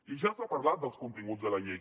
i ja s’ha parlat dels continguts de la llei